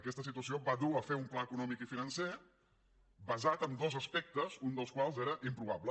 aquesta situació va dur a fer un pla econòmic i financer basat en dos aspectes un dels quals era improbable